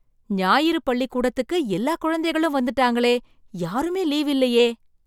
ஞாயிறு பள்ளிக்கூடத்துக்கு எல்லா குழந்தைகளும் வந்துட்டாங்களே யாருமே லீவு இல்லையே!